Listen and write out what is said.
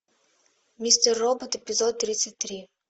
мистер робот эпизод тридцать три